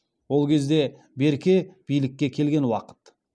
ол кезде берке билікке келген уақыт